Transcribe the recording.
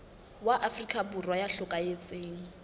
wa afrika borwa ya hlokahetseng